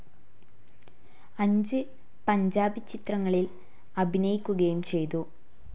അഞ്ച് പഞ്ചാബി ചിത്രങ്ങളിൽ അഭിനയിക്കുകയും ചെയ്തു.